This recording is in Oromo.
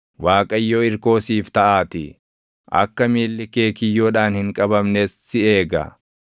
Waaqayyo irkoo siif taʼaatii; akka miilli kee kiyyoodhaan hin qabamnes si eega.